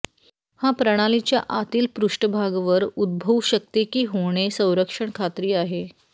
हा प्रणालीच्या आतील पृष्ठभाग वर उद्भवू शकते की होणे संरक्षण खात्री आहे